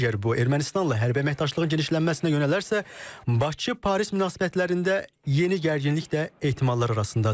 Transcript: Əgər bu Ermənistanla hərbi əməkdaşlığı genişlənməsinə yönələrsə, Bakı-Paris münasibətlərində yeni gərginlik də ehtimallar arasındadır.